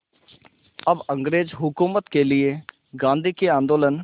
अब अंग्रेज़ हुकूमत के लिए गांधी के आंदोलन